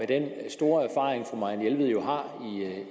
den store erfaring fru marianne jelved jo har